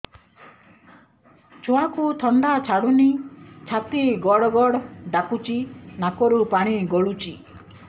ଛୁଆକୁ ଥଣ୍ଡା ଛାଡୁନି ଛାତି ଗଡ୍ ଗଡ୍ ଡାକୁଚି ନାକରୁ ପାଣି ଗଳୁଚି